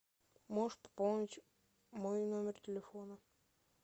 можешь пополнить мой номер телефона